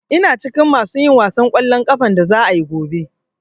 Ina cikin masu yin gasan ƙwallon ƙafan da za'a yi gobe.